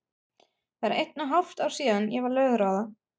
Það er eitt og hálft ár síðan ég varð lögráða.